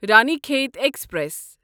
رانی کھیت ایکسپریس